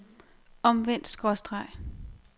omvendt skråstreg